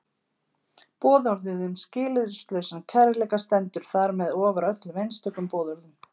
Boðorðið um skilyrðislausan kærleika stendur þar með ofar öllum einstökum boðorðum.